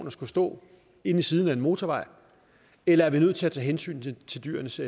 at skulle stå inde i siden ved en motorvej eller er vi nødt til at tage hensyn til dyrenes